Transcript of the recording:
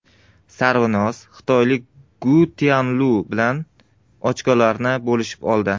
Sarvinoz xitoylik Gu Tianlu bilan ochkolarni bo‘lishib oldi.